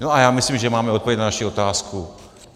No a já myslím, že máme odpověď na naši otázku.